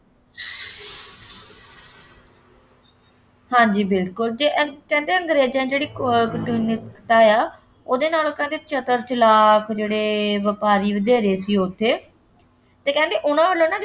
ਹਾਂਜੀ ਬਿਲਕੁੱਲ ਜੀ ਅਹ ਕਹਿੰਦੇ ਅੰਗਰੇਜ਼ਾਂ ਨੇ ਜਿਹੜੀ , ਉਹਦੇ ਨਾਲੋਂ ਤਾਂ ਕਹਿੰਦੇ ਚਤਰ ਚਲਾਕ ਜਿਹੜੇ ਵਪਾਰੀ ਵਧੇਰੇ ਸੀ ਉੱਥੇ, ਅਤੇ ਕਹਿੰਦੇ ਉਹਨਾ ਵੱਲੋਂ ਨਾ ਕੋਈ